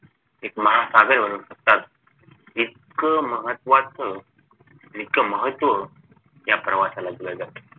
एक महासागर बनवू शकतात इतकं महत्वाचं इतकं महत्व या प्रवासाला दिल जात